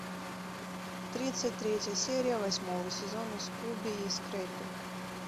тридцать третья серия восьмого сезона скуби и скрэппи